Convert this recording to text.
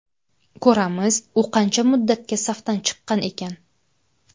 Ko‘ramiz, u qancha muddatga safdan chiqqan ekan.